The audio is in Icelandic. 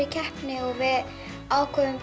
keppni og ákváðum